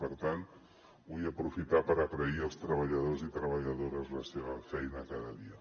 per tant vull aprofitar per agrair als treballadors i treballadores la seva feina cada dia